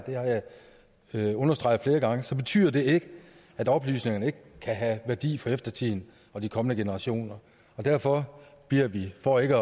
jeg understreget flere gange så betyder det ikke at oplysningerne ikke kan have værdi for eftertiden og de kommende generationer derfor bliver vi for ikke